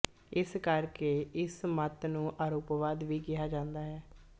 ਇਸ ਕਰ ਕੇ ਇਸ ਮਤ ਨੂੰ ਆਰੋਪਵਾਦ ਵੀ ਕਿਹਾ ਜਾਂਦਾ ਹੈ